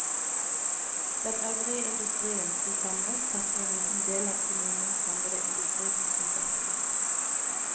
Den øvrige industrien sto samlet sett for en liten del av kommunens samlede industrisysselsetting.